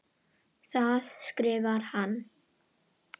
Þaðan skrifar hann